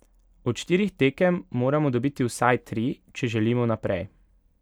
Od štirih tekem moramo dobiti vsaj tri, če želimo naprej.